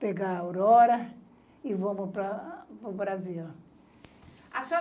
pegar a Aurora e vamos para o Brasil.